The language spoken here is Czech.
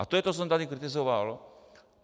A to je to, co jsem tady kritizoval.